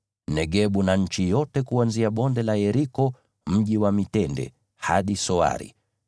Negebu na nchi yote kuanzia Bonde la Yeriko, Mji wa Mitende, hadi Soari.